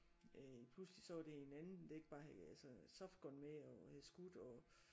Øh pludselig så var det en anden det ikke bare havde altså softgun med og havde skudt og